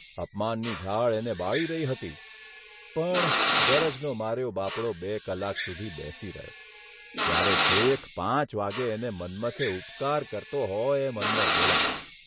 અપમાનની ઝાળ એને બાળી રહી હતી, પણ ગરજનો માર્યો બાપડો બે કલાક સુધી બેસી રહ્યો ત્યારે છેક પાંચ વાગ્યે એને મન્મથે ઉપકાર કરતો હોય એમ અંદર બોલાવ્યો.